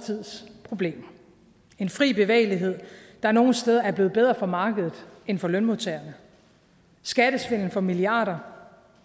tids problemer en fri bevægelighed der nogle steder er blevet bedre for markedet end for lønmodtagerne skattesvindel for milliarder